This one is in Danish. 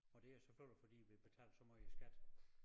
Og det jo selvfølgelig fordi vi betaler så måj i skat